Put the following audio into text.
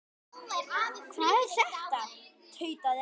Hvað er þetta? tautaði afi.